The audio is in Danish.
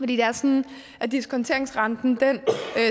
det er sådan at diskonteringsrenten